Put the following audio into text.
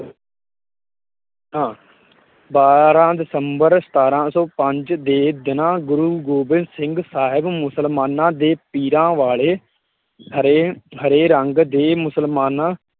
ਬਾਰਾ ਦਸੰਬਰ ਸਤਾਰਾਂ ਸੌ ਪੰਜ ਦੇ ਦਿਨਾਂ ਗੁਰੁ ਗੋਬਿੰਦ ਸਿੰਘ ਸਾਹਿਬ ਮੁਸਲਮਾਨਾਂ ਦੇ ਪੀਰਾਂ ਵਾਲੇ ਹਰੇ-ਹਰੇ ਰੰਗ ਦੇ ਮੁਸਲਮਾਨਾਂ